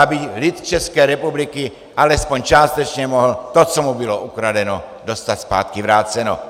Aby lid České republiky alespoň částečně mohl to, co mu bylo ukradeno, dostat zpátky vráceno.